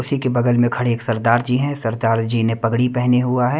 उसी के बगल में खड़े एक सरदार जी हैं सरदार जी ने पगड़ी पहनी हुआ है।